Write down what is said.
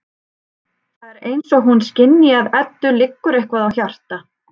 Það er eins og hún skynji að Eddu liggur eitthvað á hjarta.